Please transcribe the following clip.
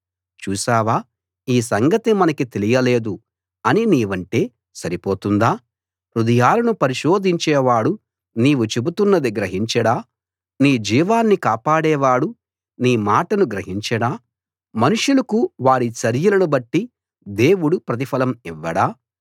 చూసావా ఈ సంగతి మనకి తెలియ లేదు అని నీవంటే సరిపోతుందా హృదయాలను పరిశోధించేవాడు నీవు చెబుతున్నది గ్రహించడా నీ జీవాన్ని కాపాడే వాడు నీ మాటను గ్రహించడా మనుషులకు వారి చర్యలను బట్టి దేవుడు ప్రతిఫలం ఇవ్వడా